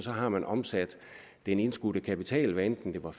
har man omsat den indskudte kapital hvad enten det var